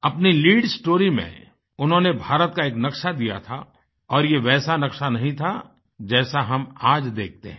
अपनी lead story में उन्होंने भारत का एक नक्शा दिया था और ये वैसा नक्शा नहीं था जैसा हम आज देखते हैं